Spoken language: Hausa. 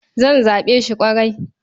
Zan zaɓe shi ƙwarai.